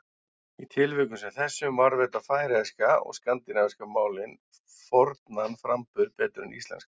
Í tilvikum sem þessum varðveita færeyska og skandinavísku málin fornan framburð betur en íslenska.